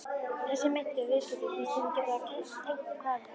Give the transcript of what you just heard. Þessi meintu viðskipti fannst þeim þeir geta tengt hvarfi